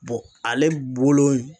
Bɔn ale bolo in